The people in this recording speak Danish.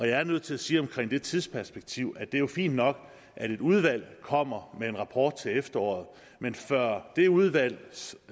jeg er nødt til at sige omkring det tidsperspektiv at det jo er fint nok at et udvalg kommer med en rapport til efteråret men før det udvalgs